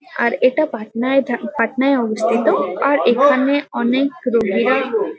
আর এটা পাটনায় থা পাটনায় অবস্থিত। আর এখানে অনেক রোগীরা--